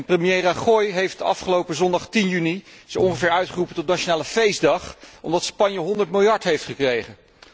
Premier Rajoy heeft afgelopen zondag 10 juni zo ongeveer uitgeroepen tot nationale feestdag, omdat Spanje 100 miljard euro heeft gekregen.